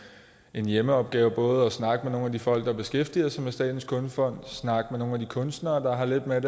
en hjemmeopgave i både at snakke med nogle af de folk der beskæftiger sig med statens kunstfond snakke med nogle af de kunstnere der har lidt med